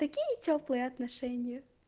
какие тёплые отношения